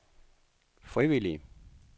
frivillige